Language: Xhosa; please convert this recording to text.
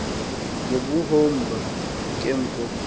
ngobuhomba ke mfo